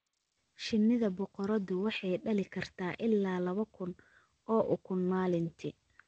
Shinnida boqoradu waxay dhali kartaa ilaa laba kun oo ukun maalintii.